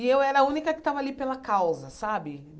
E eu era a única que estava ali pela causa, sabe?